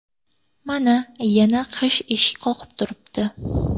Mana, yana qish eshik qoqib turibdi.